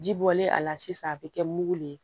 Ji bɔlen a la sisan a bɛ kɛ mugu le ye